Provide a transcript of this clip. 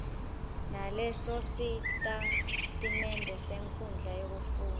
nalesositatimende senkhundla yekufundza